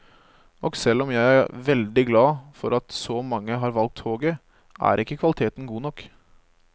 Og selv om jeg er veldig glad for at så mange har valgt toget, er ikke kvaliteten god nok.